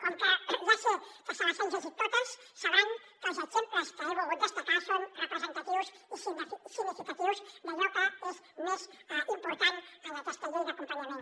com que ja sé que se les han llegit totes deuen saber que els exemples que he volgut destacar són representatius i significatius d’allò que és més important en aquesta llei d’acompanyament